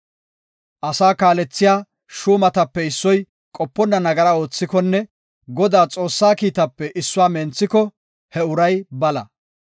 Asaa kaalethiya shuumatape issoy qoponna nagara oothikonne Godaa Xoossaa kiitaape issuwa menthiko he uray bala.